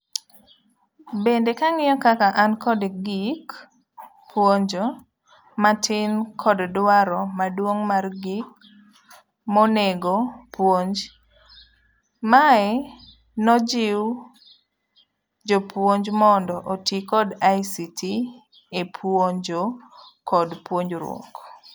Bende kang'iyo kaka an kod gik puonjo matin kod dwaro maduong' mar gik monego puonj, mae nojiw jopuonj mondo oti kod ICT e puonjo kod puonjruok.